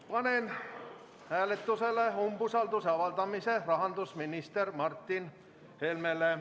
Panen hääletusele umbusalduse avaldamise rahandusminister Martin Helmele.